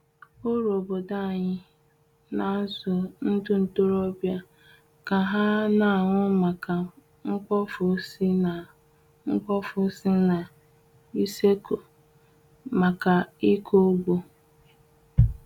Ọrụ obodo anyị n'azụ ndị ntorobịa ka ha n'ahụ maka mkpofu si na mkpofu si na useku maka ịkọ ugbo.